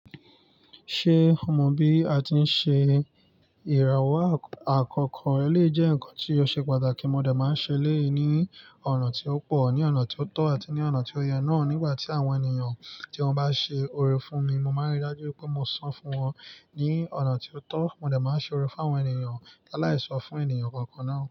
Ṣé o mọ bí a ti ń ṣe ìràwọ̀ àkọkọ? Ó lè jẹ́ ǹkan tí yóò ṣe pàtàkì. Mo dẹ̀ máa ń ṣe léyìí ní ọ̀nà tí ó pò, ní ọ̀nà tí ó tọ́ àti ní ọ̀nà tí ó yẹ náà. Nígbà tí àwọn ènìyàn tí wọ́n bá ṣe ore fún mi, mo máa ń rí i dájú pé mo san fún wọn ní ọ̀nà tí ó tọ́. Mo dẹ̀ máa ń ṣe ore fún àwọn ènìyàn la láì sọ fún ènìyàn kankan náà.